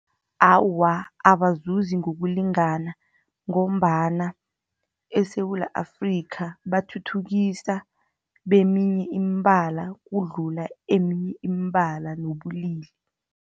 Awa, abazuzi ngokulingana, ngombana eSewula Afrika bathuthukisa beminye imibala, ukudlula eminye imibala ngobulili.